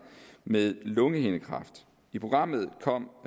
med lungehindekræft i programmet kom